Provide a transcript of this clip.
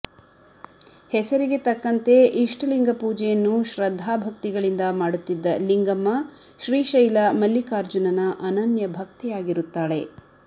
ಹೆಸರಿಗೆ ತಕ್ಕಂತೆ ಇಷ್ಟ ಲಿಂಗ ಪೂಜೆಯನ್ನು ಶ್ರದ್ಧಾ ಭಕ್ತಿಗಳಿಂದ ಮಾಡುತ್ತಿದ್ದ ಲಿಂಗಮ್ಮ ಶ್ರೀಶೈಲ ಮಲ್ಲಿಕಾರ್ಜುನನ ಅನನ್ಯ ಭಕ್ತೆಯಾಗಿರುತ್ತಾಳೆ